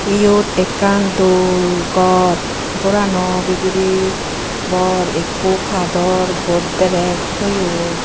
iyot ekkan dol gor gorano bidire bor ekko kador godrej toyon.